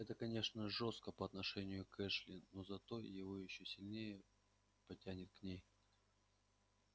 это конечно жестоко по отношению к эшли но зато его ещё сильнее потянет к ней